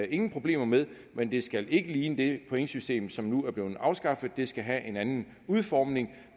ingen problemer med men det skal ikke ligne det pointsystem som nu er blevet afskaffet det skal have en anden udformning